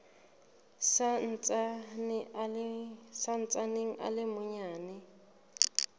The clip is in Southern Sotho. sa ntsaneng a le manyane